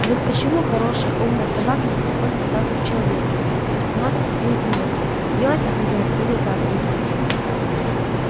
и вот почему хорошая умная собака не подходит сразу к человеку а становится и узнает её это хозяин или враг его